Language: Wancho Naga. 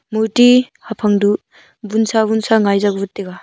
murti haphang du wunsa wunsa ngai zakwut taiga.